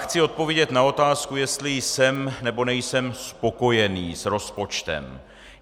Chci odpovědět na otázku, jestli jsem, nebo nejsem spokojený s rozpočtem.